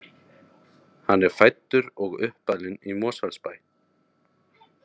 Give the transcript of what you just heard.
Hann er fæddur og uppalinn í Mosfellsbæ.